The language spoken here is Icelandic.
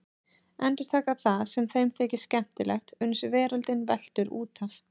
Endurtaka það sem þeim þykir skemmtilegt uns veröldin veltur út af.